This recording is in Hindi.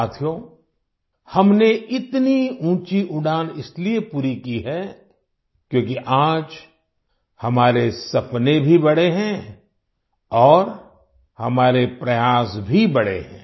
साथियो हमने इतनी ऊंची उड़ान इसलिए पूरी की है क्योंकि आज हमारे सपने भी बड़े हैं और हमारे प्रयास भी बड़े हैं